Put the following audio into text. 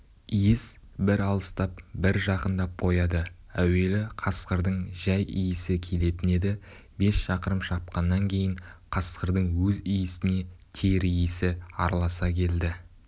иіс бір алыстап бір жақындап қояды әуелі қасқырдың жай иісі келетін еді бес шақырым шапқаннан кейін қасқырдың өз иісіне тер иісі араласа келді